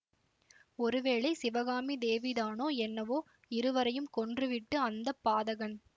ஒருவேளை சிவகாமி தேவிதானோ என்னவோ இருவரையும் கொன்றுவிட்டு அந்த பாதகன்